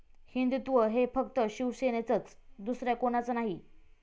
हिंदुत्व हे फक्त शिवसेनेचंच, दुसऱ्या कोणाचं नाही'